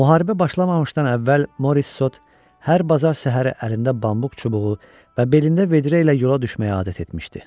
Müharibə başlamamışdan əvvəl Morissot hər bazar səhəri əlində bambuk çubuğu və belində vedrə ilə yola düşməyə adət etmişdi.